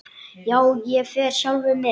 Já, ég fer sjálfur með